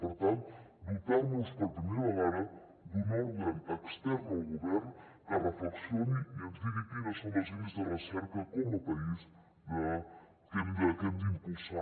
per tant dotar nos per primera vegada d’un òrgan extern al govern que reflexioni i ens digui quines són les línies de recerca com a país que hem d’impulsar